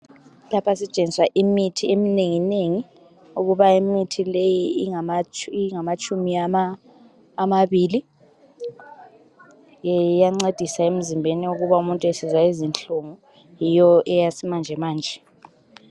Lapha sitshengiswa imithi eminenginengi. Ukuba imithi le ingamatshumi amabili. Ye, iyancedisa emzimbeni, ukuba umuntu esizwa izinhlungu. Yiyo eyesimanjemanje.